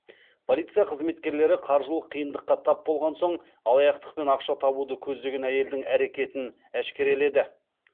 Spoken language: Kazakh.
полиция қызметкерлері қаржылық қиындыққа тап болған соң алаяқтықпен ақша табуды көздеген әйелдің әрекетін әшкереледі